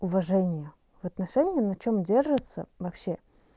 уважение в отношении на чём держатся вообще